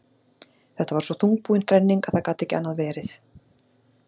Þetta var svo þungbúin þrenning að það gat ekki annað verið.